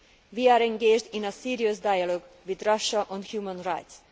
We are engaged in a serious dialogue with Russia on human rights.